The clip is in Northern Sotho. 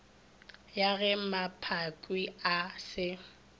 ya ge mmaphakwe a se